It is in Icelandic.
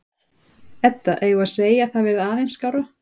Edda: Eigum við að segja að það verði aðeins skárra?